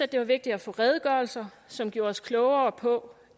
det var vigtigt at få redegørelser som gjorde os klogere på